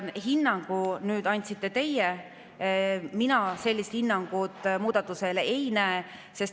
Hinnangu andsite teie, mina sellist hinnangut muudatusele ei.